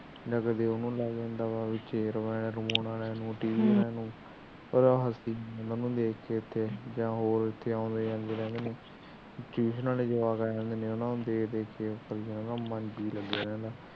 ਜਾ ਕਦੇ ਉਹਨਾਂ ਨੂੰ ਲੈ ਜਾਂਦਾ ਆ ਵਾਲਿਆਂ ਨੂੰ ਜਾ ਟੀਵੀ ਆਲੀਆ ਨੂੰ ਪਰ ਉਹ ਇਥੇ ਅਉਂਦੇ ਜਾਂਦੇ ਰਹਿੰਦੇ ਨੇ ਕਿ ਉਹਨਾਂ ਦੇ ਜਵਾਕਾ ਨੂੰ ਦੇਖ ਦੇਖ ਕੇ ਮਾਨ ਲੱਗਿਆ ਰਹਿੰਦਾ